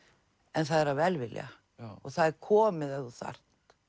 en það er af velvilja og það er komið ef þú þarft